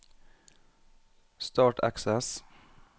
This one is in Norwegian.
Start Access